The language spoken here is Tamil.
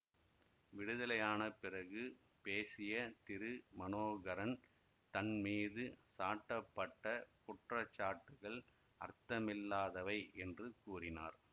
விடுதலையான பிறகு பேசிய திரு மனோகரன் தன் மீது சாட்டப்பட்ட குற்றச்சாட்டுகள் அர்த்தமில்லாதவை என்று கூறினார்